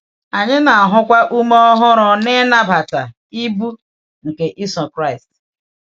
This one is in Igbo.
Anyị na-ahụkwa ume ọhụrụ n’ịnabata “ibu” nke iso Kraịst.